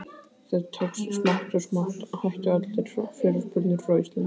Þetta tókst, smátt og smátt hættu allar fyrirspurnir frá Íslandi.